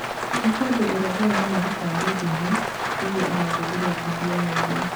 "Ní hĩndĩ ĩrĩa ndĩramuneire kandi ndune nĩguo arangûthire ngundi ya ũthiũ."